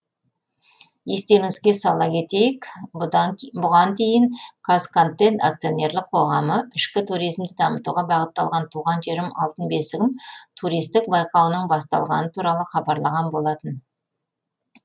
естеріңізге сала кетейік бұған дейін қазконтент акционерлік қоғамы ішкі туризмді дамытуға бағытталған туған жерім алтын бесігім туристік байқауының басталғаны туралы хабарлаған болатын